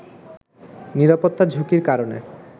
নিরাপত্তা ঝুঁকির কারণে